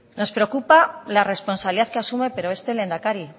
nos preocupa la responsabilidad que asume pero este lehendakari